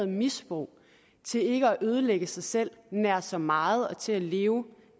misbrug til ikke at ødelægge sig selv nær så meget og til at leve